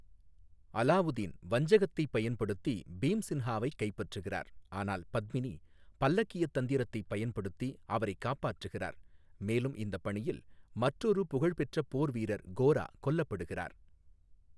அலாவுதீன் வஞ்சகத்தைப் பயன்படுத்தி பீம்சின்ஹாவைக் கைப்பற்றுகிறார், ஆனால் பத்மினி பல்லக்கியத் தந்திரத்தைப் பயன்படுத்தி அவரை காப்பாற்றுகிறார், மேலும் இந்த பணியில் மற்றொரு புகழ்பெற்ற போர்வீரர் கோரா கொல்லப்படுகிறார்.